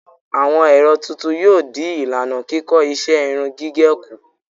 Àwọn ẹ̀rọ tuntun yóò dín ìlànà kíkọ́ iṣẹ́ irun gígẹ̀ kù.